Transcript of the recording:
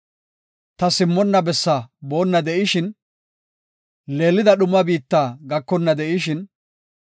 Ta simmonna bessaa boonna de7ishin, leelida dhuma biitta gakonna de7ishin,